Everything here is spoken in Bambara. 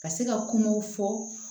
Ka se ka kumaw fɔ